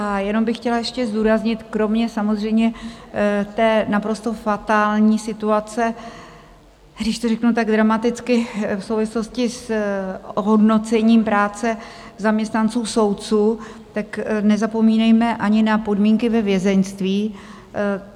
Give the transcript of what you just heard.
A jenom bych chtěla ještě zdůraznit, kromě samozřejmě té naprosto fatální situace, když to řeknu tak dramaticky, v souvislosti s ohodnocením práce zaměstnanců soudů, tak nezapomínejme ani na podmínky ve vězeňství.